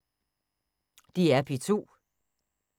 DR P2